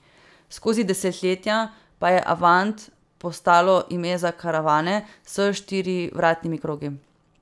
Skozi desetletja pa je avant postalo ime za karavane s štirivratnimi krogi.